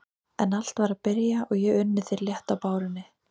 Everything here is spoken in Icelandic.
En allt var að byrja og ég unni þér létt á bárunni.